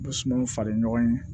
Sumanw falen ɲɔgɔn ye